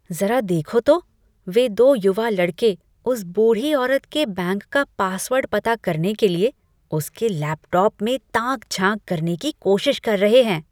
ज़रा देखो तो! वे दो युवा लड़के उस बूढ़ी औरत के बैंक का पासवर्ड पता करने के लिए उसके लैपटॉप में ताक झाँक करने की कोशिश कर रहे हैं।